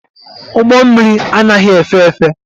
Ụgbọ mmịrị anaghị efe efe.